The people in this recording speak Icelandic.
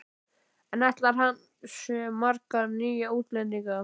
En ætlar hann sér marga nýja útlendinga?